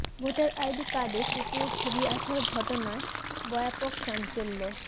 voter ID কার্ডে কুকুরের ছবি আসার ঘটনায় ব্য়াপক চাঞ্চল্য